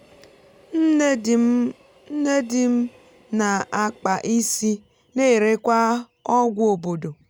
nne di m na-ákpà isi na-erekwa ọgwụ obodo um